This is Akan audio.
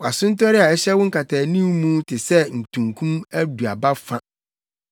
Wʼasontɔre a ɛhyɛ wo nkataanim mu te sɛ ntunkum aduaba fa.